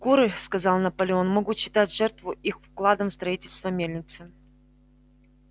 куры сказал наполеон могут считать жертву их вкладом в строительство мельницы